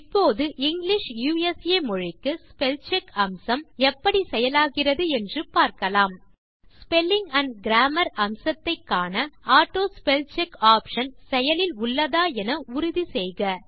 இப்போது English USA மொழிக்கு spellcheck அம்சம் எப்படி செயலாகிறது என்று பார்க்கலாம் ஸ்பெல்லிங் ஆண்ட் கிராமர் அம்சத்தை காண ஆட்டோஸ்பெல்செக் ஆப்ஷன் செயலில் உள்ளதா என உறுதி செய்க